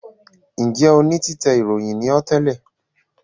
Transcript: Njẹ òní títè ìròyìn ní ọ́ tẹlẹ?